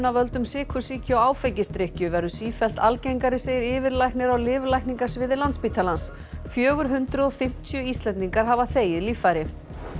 af völdum sykursýki og áfengisdrykkju verður sífellt algengari segir yfirlæknir á lyflækningasviði Landspítalans fjögur hundruð og fimmtíu Íslendingar hafa þegið líffæri